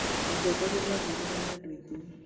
Mũtongoria nĩ aathuurirwo nĩ andũ aingĩ.